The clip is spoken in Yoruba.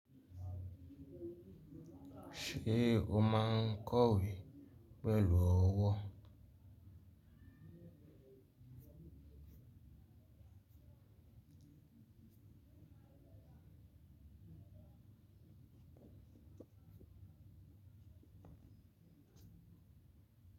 Ṣé o máa kọ̀wé pẹ̀lú ọwọ́.